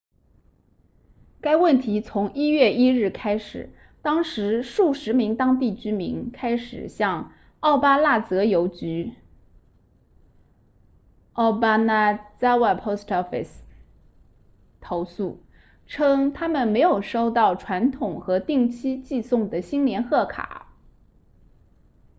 该问题从1月1日开始当时数十名当地居民开始向奥巴那泽邮局 obanazawa post office 投诉称他们没有收到传统和定期寄送的新年贺卡